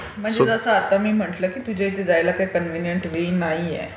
म्हणजे जसं आता मी म्हंटलं की तुझ्या इथे जायला काही कण्व्हिनियंट वे नाहीये.